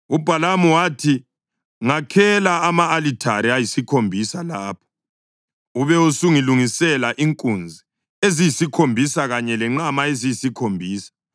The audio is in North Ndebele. UBhalamu wathi, “Ngakhela ama-alithare ayisikhombisa lapha, ube usungilungisela inkunzi eziyisikhombisa kanye lenqama eziyisikhombisa.”